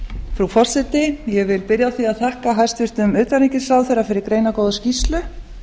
frú forseti ég vil byrja á því að þakka hæstvirtum utanríkisráðherra fyrir greinargóða skýrslu